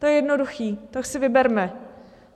To je jednoduché, tak si vyberme.